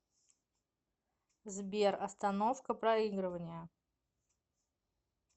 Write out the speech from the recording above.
сбер остановка проигрывания